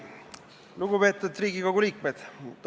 Lugupeetud Riigikogu liikmed!